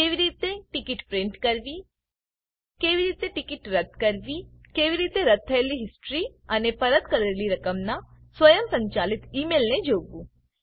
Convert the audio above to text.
કેવી રીતે ticket print કરવી કેવી રીતે ટીકીટ રદ્દ કરવી કેવી રીતે રદ્દ થયેલી હિસ્ટ્રી અને પરત કરેલી રકમનાં સ્વયંસંચાલિત ઈ મેઈલને જોવું